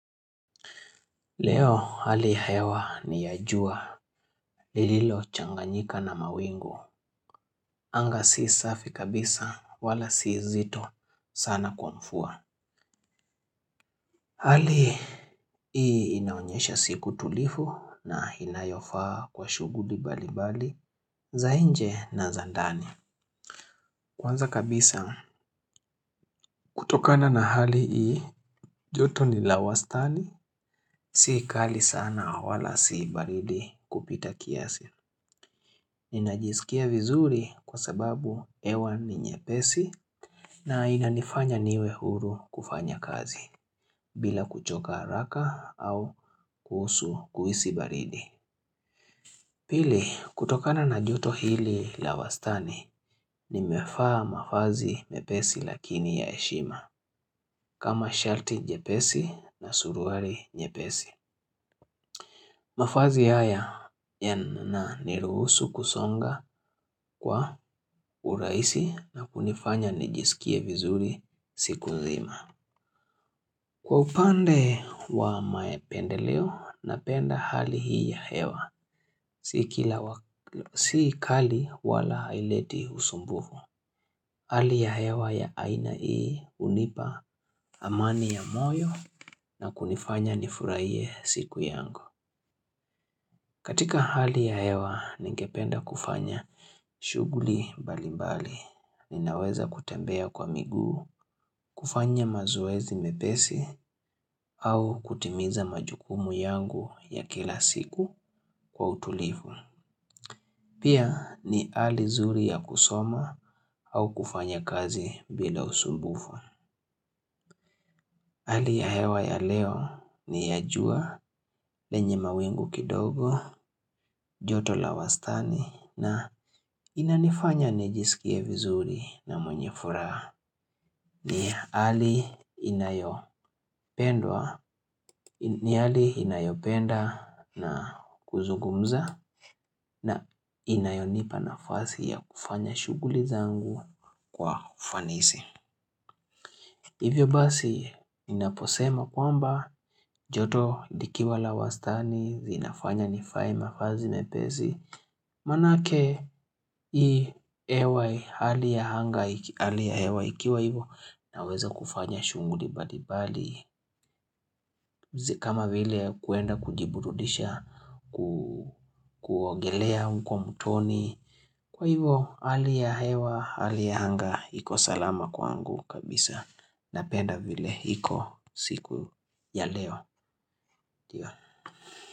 Leo hali hewa ni ya jua lililochanganyika na mawingu. Anga si safi kabisa wala si zito sana kwa mvua. Hali hii inaonyesha siku tulivu na inayofaa kwa shughudi mbalimbali za nje na za ndani. Kwanza kabisa, kutokana na hali hii, joto ni la wastani. Si kali sana wala si baridi kupita kiasi. Ninajisikia vizuri kwa sababu hewa ni nyepesi na inanifanya niwe huru kufanya kazi bila kuchoka haraka au kuhusu kuhisi baridi. Pili kutokana na joto hili la wastani nimevaa mavazi mepesi lakini ya heshima, kama shati jepesi na suruari nyepesi. Mavazi haya yananiruhusu kusonga kwa urahisi na kunifanya nijisikie vizuri siku nzima. Kwa upande wa mapendeleo, napenda hali hii ya hewa, si kali wala haileti usumbufu. Hali ya hewa ya aina hii hunipa amani ya moyo na kunifanya nifurahie siku yangu. Katika hali ya hewa, ningependa kufanya shughuli mbalimbali. Ninaweza kutembea kwa miguu, kufanya mazoezi mepesi, au kutimiza majukumu yangu ya kila siku kwa utulifu. Pia ni hali zuri ya kusoma au kufanya kazi bila usumbufu. Hali ya hewa ya leo ni ya jua lenye mawingu kidogo, joto la wastani na inanifanya nejisikie vizuri na mwenye furaha. Ni hali inayo ni hali inayopenda ya kuzugumza na inayonipa nafasi ya kufanya shughuli zangu kwa ufanisi. Hivyo basi ninaposema kwamba joto likiwa la wastani zinafanya nivae mavazi mepesi. Maana yake ni iwe hali ya anga hali ya hewa ikiwa hivyo naweza kufanya shunghuli mbalimbali. Kama vile kuenda kujibududisha kuogelea huko mtoni, kwa hivyo hali ya hewa hali ya anga iko salama kwangu kabisa. Napenda vile hiko siku ya leo.